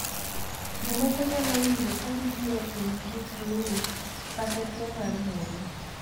Jomoko nyalo winjo ka gibiro piny gi flu kata tuo mar muya.